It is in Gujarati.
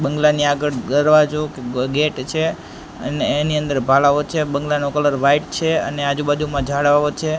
બંગ્લા ની આગળ દરવાજો ગેટ છે અને એની અંદર ભાલાઓ છે બંગ્લા નો કલર વાઈટ છે અને આજુ બાજુમાં ઝાડાઓ છે.